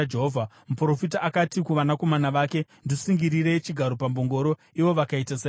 Muprofita akati kuvanakomana vake, “Ndisungirirei chigaro pambongoro,” ivo vakaita saizvozvo.